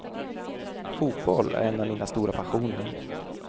Fotboll är en av mina stora passioner.